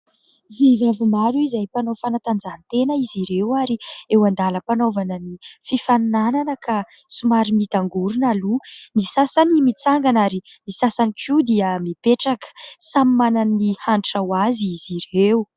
Vehivavy maro izay mpanao fanatanjahantena izy ireo ary eo andalam-panaovana ny fifaninana ka somary miotangorona aloha, ny sasany mitsangana ary ny sasany koa dia mipetraka. Samy manana ny hanitra ho azy izy ireo.